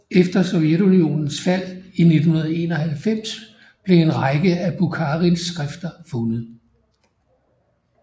Efter Sovjetunionens fald i 1991 blev en række af Bukharins skrifter fundet